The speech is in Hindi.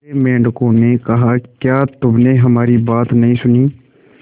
दूसरे मेंढकों ने कहा क्या तुमने हमारी बात नहीं सुनी